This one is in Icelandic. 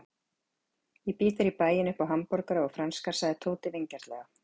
Ég býð þér í bæinn upp á hamborgara og franskar sagði Tóti vingjarnlega.